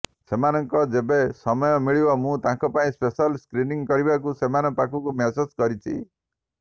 ସେମାନଙ୍କ ଯେବେ ସମୟ ମିଳିବ ମୁଁ ତାଙ୍କ ପାଇଁ ସ୍ପେଶାଲ ସ୍କ୍ରିନିଂ କରିବାକୁ ସେମାନଙ୍କ ପାଖକୁ ମେସେଜ୍ କରିଛି